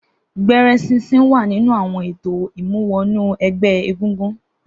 Gbẹ̀rẹ̀ sinsin wà nínú awọn étó imúwọ̀nú ẹgbẹ égúngún